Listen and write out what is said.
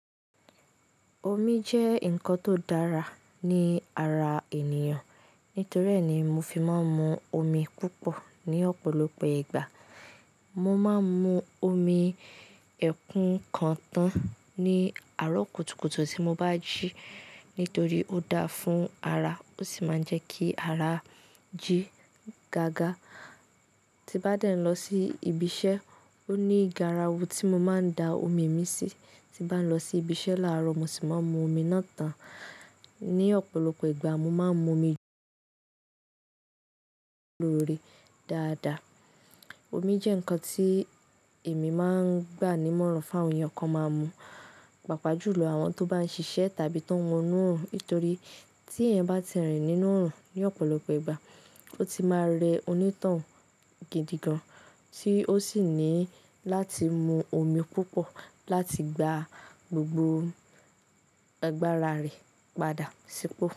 Omi jẹ́ nǹkan tó dára ní ara ènìyàn. Nítorí ẹ́ ni mo fi máa ń mu omi púpọ̀ ní ọ̀pọ̀lọpọ̀ ìgbà. Mo máa ń mu omi ẹ̀kú kan tán ní àárọ̀ kùtùkùtù tí mo bá jí nítorí ó dáa fún ara, ó sì máa ń jẹ́ kí ara jí gágá. Tí bá dẹ̀ ń lọ sí ibi iṣẹ́, ó ní garawu tí mo máa ń da omi mi sí. Tí bá ń lọ sí ibi iṣẹ́ láàárọ̀, mo sì máa ń mu omi náà tán. Ní ọ̀pọ̀lọpọ̀ ìgbà, mo máa ń mu omi loore dáadáa. Omi jẹ́ nǹkan tí èmi máa ń gbà ní mọ́ràn fún àwọn ènìyàn kan máa mu, pàápàá jùlọ àwọn tó bá ń ṣiṣẹ́ tàbí tó ń wo inú òòrùn. Nítorí tí ẹ̀eyan bá ti rìn nínú òòrùn ní ọ̀pọ̀lọpọ̀ ìgbà, ó ti máa rẹ onítàn hun gidi gan-an, tí ó sì ní láti mu omi púpọ̀ láti gba gbogbo agbára rẹ̀ padà sípò.